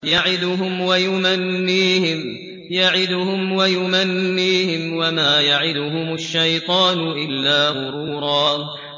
يَعِدُهُمْ وَيُمَنِّيهِمْ ۖ وَمَا يَعِدُهُمُ الشَّيْطَانُ إِلَّا غُرُورًا